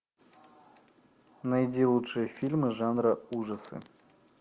найди лучшие фильмы жанра ужасы